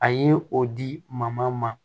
A ye o di ma